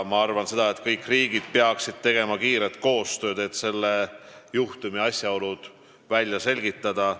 Ma arvan, et kõik riigid peaksid tegema kiiret koostööd, et selle juhtumi asjaolud välja selgitada.